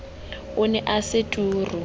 o ne o se turu